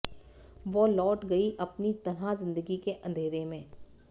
वो लौट गयी अपनी तन्हा जिंदगी के अंधेरे में